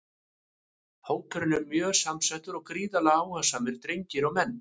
Hópurinn er mjög samhentur og gríðarlega áhugasamir drengir og menn!